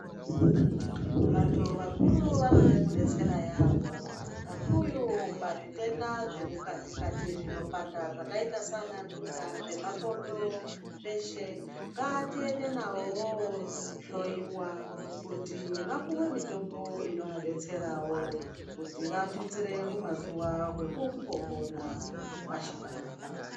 Vantu vakuru vanode kudetsera yambo, kakuyo pazvitenda zvemukati-kati zvinopanda zvakayita seanantunda, zvemakodo zveshe, ngatiende navo vohloyiwa kuti vapuwe mitombo inovadetserawo kuti vatutsire humazuwa hwekumbopona pashi panapa.